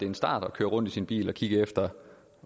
en start at køre rundt i sin bil og kigge efter